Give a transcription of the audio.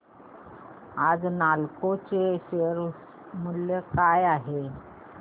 आज नालको चे शेअर मूल्य काय आहे